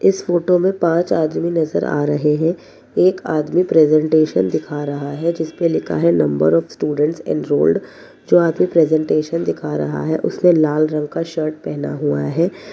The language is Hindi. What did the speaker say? इस फोटो मे पांच आदमी नज़र आ रहे है एक आदमी प्रेजेंटेशन दिखा रहा है जिसपे लिखा है नंबर ऑफ़ स्टूडेंट एनरोलेड जो आदमी प्रेजेंटेशन दिखा रहा है उसने लाल रंग का शर्ट पहना हुआ है।